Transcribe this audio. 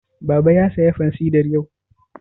Baba ya saya fansidar yau?